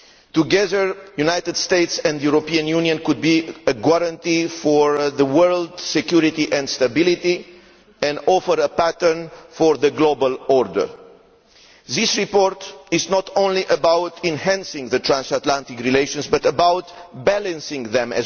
Together, the United States and the European Union could be a guarantee for the world's security and stability and offer a pattern for the global order. This report is not only about enhancing transatlantic relations but also about balancing them.